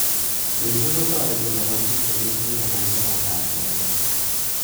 Missing kotoreti lapatik che mengech konai sobondoab lapatet